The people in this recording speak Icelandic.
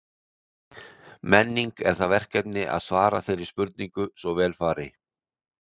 Menning er það verkefni að svara þeirri spurningu svo vel fari.